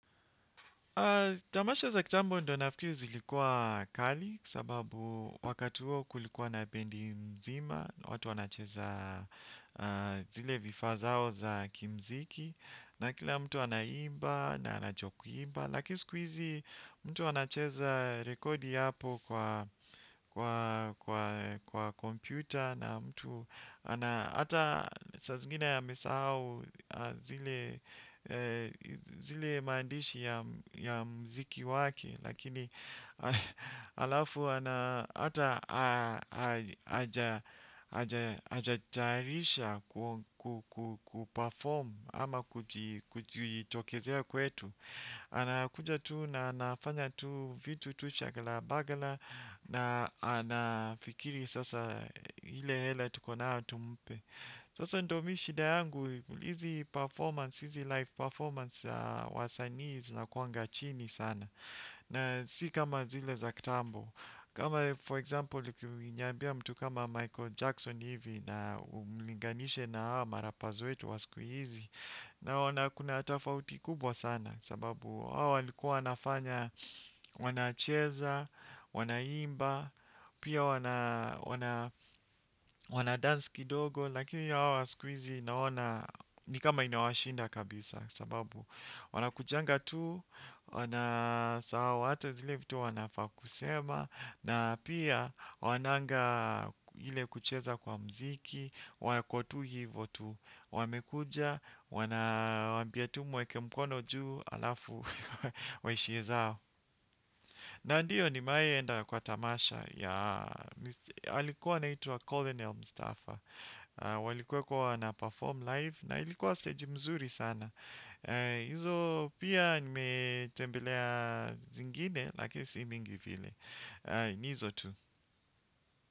Tamasha za kitambo ndo nafikiri zilikuwa kali sababu wakati huo kulikuwa na bendi nzima, watu wanacheza zile vifaa zao za kimziki na kila mtu anaimba na anajua kulimba. Lakini siku hizi mtu anacheza rekodi hapo kwa kompyuta na mtu hata saa zingine amesahau zile maandishi ya muziki waki. Lakini halafu ana hata hajatayarisha kupafomu ama kujitokezea kwetu. Anakuja tu na anafanya tu vitu tu shaghalabaghala na anafikiri sasa ile hela tuko nayo tumpe. Sasa ndo mi shida yangu, hizi performance, hizi live performance za wasanii zinakuanga chini sana. Na si kama zile za kitambo. Kama for example, ukiniambia mtu kama Michael Jackson hivi na umlinganishe na hawa marappers wetu wa siku hizi naona kuna tofauti kubwa sana sababu hawa walikuwa wanafanya wanacheza, wanaimba, pia wanadance kidogo lakini hawa siku naona ni kama inawashinda kabisa sababu wanakujanga tu, wanasahau hata zile vitu wanafaa kusema. Na pia hawananga ile kucheza kwa muziki, wako tu hivo tu, wamekuja, wanawaambia tu muweke mkono juu halafu waishie zao. Na ndiyo nimewahi enda kwa tamasha ya, alikuwa anaitwa Colin Elmstafa, walikuwa wanaperform live na ilikuwa stage mzuri sana. Izo pia nimetembelea zingine, lakini si mingi vile. Ni hizo tu.